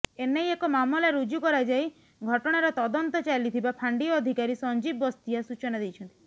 ଏନେଇ ଏକ ମାମଲା ରୁଜୁ କରାଯାଇ ଘଟଣାର ତଦନ୍ତ ଚାଲିଥିବା ଫାଣ୍ଡି ଅଧିକାରୀ ସଞ୍ଜିବ ବସ୍ତିଆ ସୂଚନା ଦେଇଛନ୍ତି